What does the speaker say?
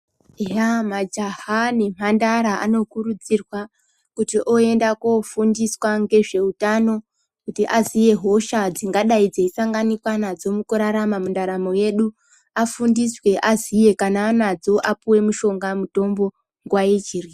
Eya majaha nemhandara anokurudzirwa kuti oenda kofundiswa ngezveutano kuti aziye hosha dzingadai dzeisanganikwa nadzo mukurarama mundaramo yedu afundiswe aziye. Kana anadzo apuwe mushonga mutombo nguwa ichipo.